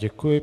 Děkuji.